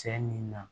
Cɛ min na